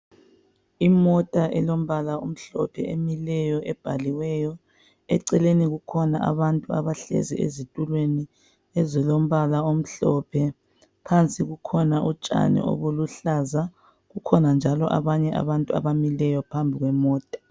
Imota elombala omhlophe emileyo ebhaliweyo, eceleni kukhona abantu abahleziyo ezitulweni ezilombala omhlophe phansi kulotshani obuluhlaza, kukhona njalo abantu abamileyo phambi kwemota.